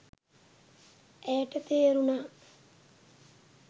ඇයට තේරුණා